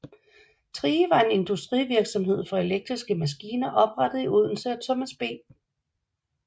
Thrige var en industrivirksomhed for elektriske maskiner oprettet i Odense af Thomas B